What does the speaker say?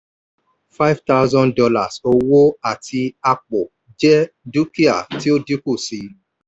five thousand dollars owó àti apò jẹ́ dúkìá tó dínkù sí i.